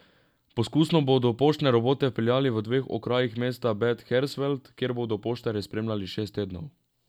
Poskusno bodo poštne robote vpeljali v dveh okrajih mesta Bad Hersfeld, kjer bodo poštarje spremljali šest tednov.